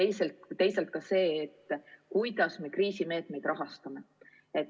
See on see, kuidas me kriisimeetmeid rahastame.